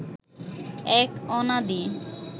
এক অনাদি